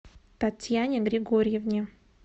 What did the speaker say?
татьяне григорьевне